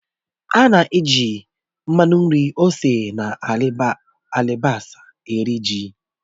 Ana-eji mmanụ nri, ose na alibasá eri ji